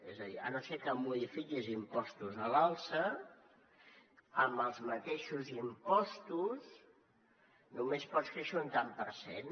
és a dir si no és que modifiques impostos a l’alça amb els mateixos impostos només pots créixer un tant per cent